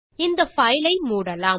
இந்த பைல் ஐ மூடலாம்